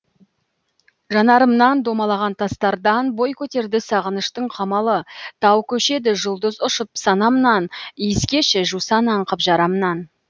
жанарымнан домалаған тастардан бой көтерді сағыныштың қамалы тау көшеді жұлдыз ұшып санамнан иіскеші жусан аңқып жарамнан